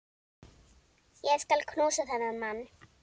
Ég skal knúsa þennan mann!